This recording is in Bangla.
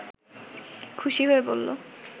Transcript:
খুশি হয়ে বলল